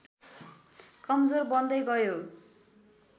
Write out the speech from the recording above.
कमजोर बन्दै गयो